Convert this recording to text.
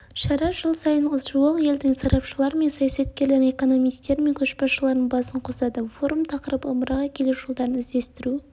шара жыл сайын жуық елдің сарапшылары мен саясаткерлерін экономистері мен көшбасшыларының басын қосады форум тақырыбы ымыраға келу жолдарын іздестіру